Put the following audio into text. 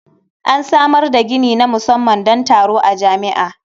An samar da gini na musamman don taro a jami'a.